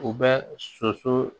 U bɛ soso